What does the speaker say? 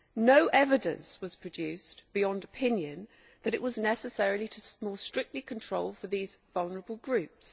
No evidence was produced, beyond opinion, that it was necessary to provide stricter controls for these vulnerable groups.